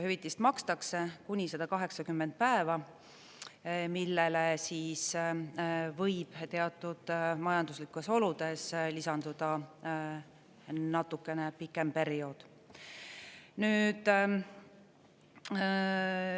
Hüvitist makstakse kuni 180 päeva, millele võib teatud majanduslikes oludes lisanduda natukene pikem periood.